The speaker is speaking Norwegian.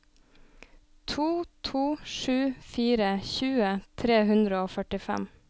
to to sju fire tjue tre hundre og førtifem